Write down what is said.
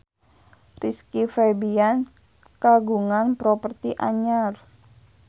Rizky Febian kagungan properti anyar